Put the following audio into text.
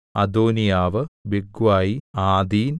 അദോനീയാവ് ബിഗ്വായി ആദീൻ